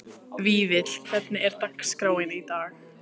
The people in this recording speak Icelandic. Vífill, hvernig er dagskráin í dag?